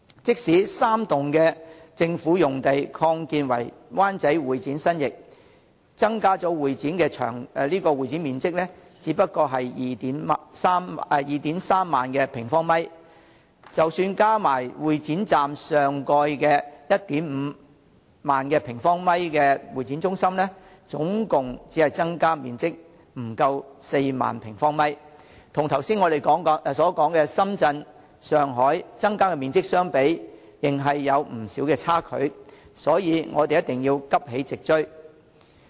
即使3座政府大樓用地擴建為灣仔會展新翼，增加的會展面積也只不過是 23,000 平方米，加上會展站上蓋 15,000 平方米的會議中心，共增加面積不足4萬平方米，與我剛才所說的深圳、上海增加的面積相比，仍有不少差距，所以我們一定要急起直追。